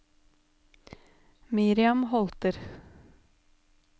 Miriam Holter